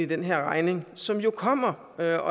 den her regning som jo kommer og jeg